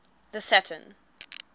the saturn